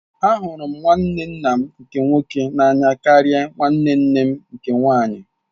Ahụrụ m nwanne nna m nke nwoke n'anya karịa nwanne nne m nke nwaanyị.